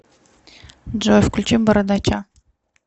джой включи бородача